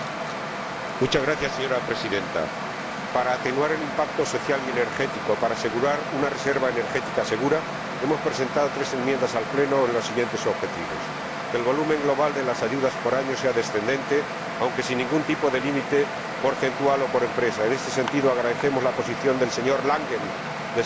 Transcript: Señora Presidenta, para atenuar el impacto social y energético, para asegurar una reserva energética segura, hemos presentado tres enmiendas al Pleno con los siguientes objetivos en primer lugar, que el volumen global de las ayudas por año sea descendente, aunque sin ningún tipo de límite porcentual o por empresa. En este sentido, agradecemos la posición del señor Langen de suprimir referencias